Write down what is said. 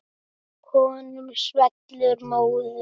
Honum svellur móður.